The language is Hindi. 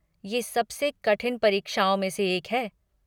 ये सबसे कठिन परीक्षाओं में से एक है।